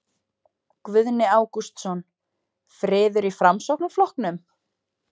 Guðni Ágústsson: Friður í Framsóknarflokknum?